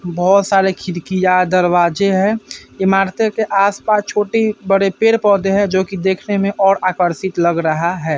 बोहोत सारे खिड़कियाँ-दरवाजें हैं। इमारतें के आस-पास छोटी-बड़े पेड़-पौधे हैं जो कि देखने में और आकर्षित लग रहा है।